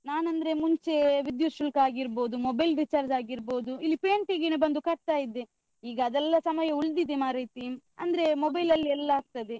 ನಾನ್ ಅಂದ್ರೆ ಮುಂಚೇ ವಿದ್ಯುತ್ ಶುಲ್ಕ ಆಗಿರ್ಬೋದು, mobile recharge ಆಗಿರ್ಬೋದು ಇಲ್ಲಿ ಪೇಂಟೆಗೇನೆ ಬಂದು ಕಟ್ತಾ ಇದ್ದೆ, ಈಗ ಅದೆಲ್ಲ ಸಮಯ ಉಳ್ದಿದೆ ಮಾರೈತಿ. ಅಂದ್ರೆ mobile ಅಲ್ಲಿ ಎಲ್ಲ ಆಗ್ತದೆ.